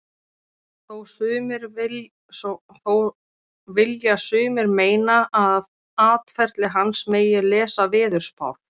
Þó vilja sumir meina að af atferli hans megi lesa veðurspár.